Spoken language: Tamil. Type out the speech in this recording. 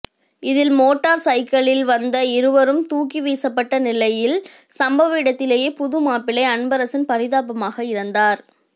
இதில் மோட்டாா் சைக்கிளிலில் வந்த இருவரும் தூக்கி வீசப்பட்டு நிலையில் சம்பவ இடத்திலேயே புது மாப்பிள்ளை அன்பரசன் பரிதாபமாக இறந்தாா்